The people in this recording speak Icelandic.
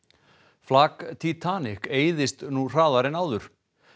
flak eyðist nú hraðar en áður